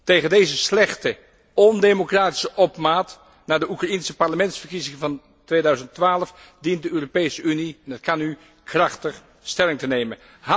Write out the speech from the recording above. Tegen deze slechte, ondemocratische opmaat naar de Oekraïense parlementsverkiezingen van 2012 dient de Europese Unie en dat kunt u krachtig stelling te nemen.